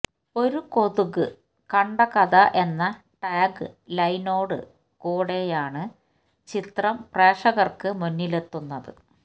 ഒരു കൊതുക് കണ്ട കഥ എന്ന ടാഗ് ലൈനോടുകൂടെയാണ് ചിത്രം പ്രേക്ഷകര്ക്ക് മുന്നിലെത്തുന്നത്